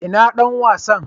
ina Dan wasan?